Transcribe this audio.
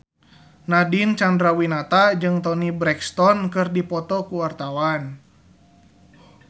Nadine Chandrawinata jeung Toni Brexton keur dipoto ku wartawan